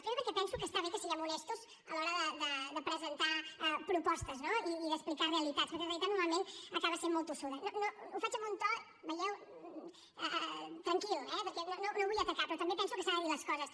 primer perquè penso que està bé que siguem honestos a l’hora de presentar propostes no i d’explicar realitats perquè la realitat normalment acaba sent molt tossuda ho faig amb un to ho veieu tranquil eh perquè no vull atacar però també penso que s’han de dir les coses